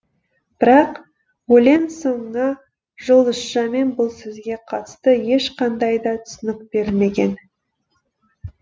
бірақ өлең соңына жұлдызшамен бұл сөзге қатысты ешқандай да түсінік берілмеген